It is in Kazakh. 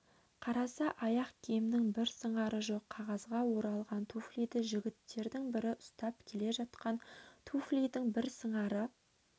қараса аяқ киімінің бір сыңары жоқ қағазға оралған туфлиді жігіттердің бірі ұстап келе жатқан туфлидің бір сыңары